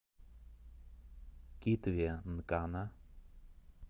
китве нкана